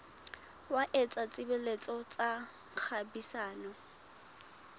wa etsa tshebetso tsa kgwebisano